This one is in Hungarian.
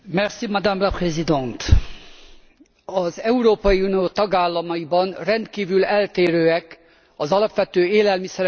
Az Európai Unió tagállamaiban rendkívül eltérőek az alapvető élelmiszerekre kirótt általános forgalmi adók.